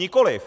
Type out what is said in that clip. Nikoliv.